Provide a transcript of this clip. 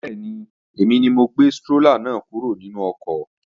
Bẹ́ẹ̀ni, èmi ni mo gbé strólà náà kúrò nínú ọkọ̀